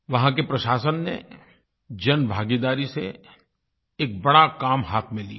वहाँ के प्रशासन ने जनभागीदारी से एक बड़ा काम हाथ में लिया